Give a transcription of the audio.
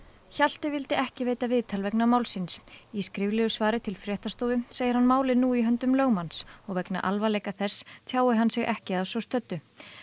Hjalti vildi ekki veita viðtal vegna málsins í skriflegu svari til fréttastofu segir hann málið nú í höndum lögmanns og vegna alvarleika þess tjái hann sig ekki að svo stöddu